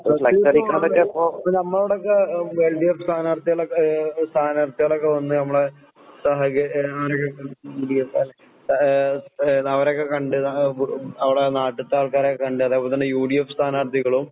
ഇപ്പൊ നമ്മളോടൊക്കെ എഹ് എൽഡിഎഫ് സ്ഥാനാർഥികളൊക്കെ ഏഹ് സ്ഥാനാർഥികളൊക്കെ വന്ന് നമ്മളെ സഹായിക്കെ എഹ് ഏഹ് ഏഹ് അവരൊക്കെ കണ്ട് ന അവടെ നാട്ട്ത്താൾക്കാരൊക്കെ കണ്ട് അതേപോലെ തന്നെ യുഡിഎഫ് സ്ഥാനാർഥികളും